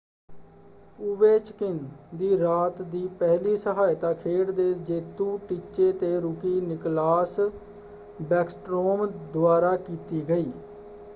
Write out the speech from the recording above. Ovechkin ਦੀ ਰਾਤ ਦੀ ਪਹਿਲੀ ਸਹਾਇਤਾ ਖੇਡ ਦੇ ਜੇਤੂ ਟੀਚੇ ‘ਤੇ ਰੂਕੀ ਨਿਕਲਾਸ ਬੈਕਸਟਰੋਮ ਦੁਆਰਾ ਕੀਤੀ ਗਈ;